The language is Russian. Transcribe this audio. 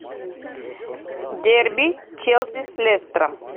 дерби челси с лестером